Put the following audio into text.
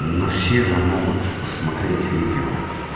но все же могут посмотреть видео